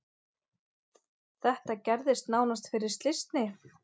Þetta gerðist nánast fyrir slysni.